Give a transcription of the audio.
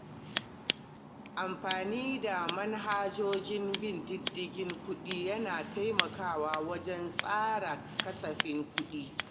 Amfani da manhajojin bin diddigin kuɗi yana taimakawa wajen tsara kasafin kuɗi.